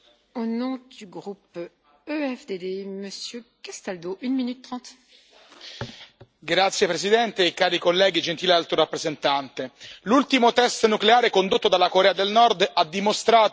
Signora Presidente, onorevoli colleghi, gentile Alto rappresentante, l'ultimo test nucleare condotto dalla Corea del Nord ha dimostrato l'inefficacia delle misure fino ad ora adottate contro il regime di Kim Jong un.